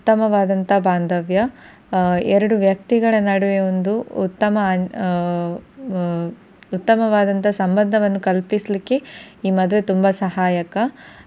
ಉತ್ತಮವಾದಂತಹ ಬಾಂಧವ್ಯ ಎರಡು ವ್ಯಕ್ತಿಗಳ ನಡುವೆ ಒಂದು ಉತ್ತಮ ಆ ಉತ್ತಮವಾದ ಸಂಬಂಧವನ್ನು ಕಲ್ಪಿಸಲಿಕ್ಕೆ ಈ ಮದುವೆ ತುಂಬಾ ಸಹಾಯಕ.